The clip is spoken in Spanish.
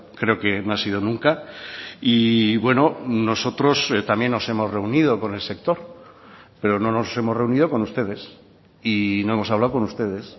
creo que no ha sido nunca y bueno nosotros también nos hemos reunido con el sector pero no nos hemos reunido con ustedes y no hemos hablado con ustedes